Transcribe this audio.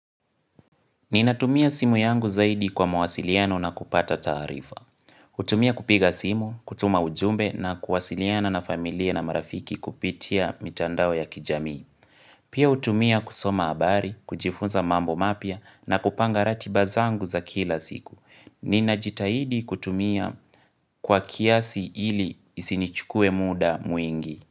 Ninatumia simu yangu zaidi kwa mawasiliano na kupata taarifa. Hutumia kupiga simu, kutuma ujumbe na kuwasiliana na familia na marafiki kupitia mitandao ya kijami. Pia hutumia kusoma habari, kujifunza mambo mapya na kupanga ratiba zangu za kila siku. Ninajitahidi kutumia kwa kiasi ili isinichukue muda mwingi.